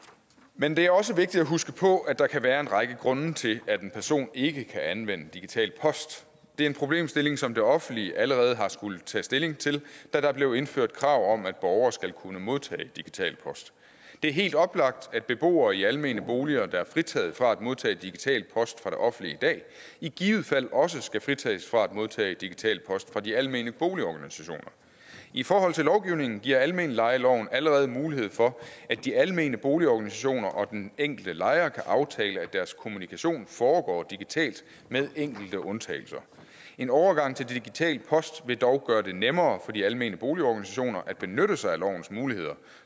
men det er også vigtigt at huske på at der kan være en række grunde til at en person ikke kan anvende digital post det er en problemstilling som det offentlige allerede har skullet tage stilling til da der blev indført krav om at borgere skal kunne modtage digital post det er helt oplagt at beboere i almene boliger der er fritaget fra at modtage digital post fra det offentlige i dag i givet fald også skal fritages fra at modtage digital post fra de almene boligorganisationer i forhold til lovgivningen giver almenlejeloven allerede mulighed for at de almene boligorganisationer og den enkelte lejer kan aftale at deres kommunikation foregår digitalt med enkelte undtagelser en overgang til digital post vil dog gøre det nemmere for de almene boligorganisationer at benytte sig af lovens muligheder